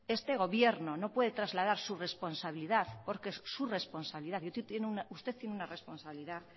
este gobierno no puede trasladar su responsabilidad porque es su responsabilidad y usted tiene una responsabilidad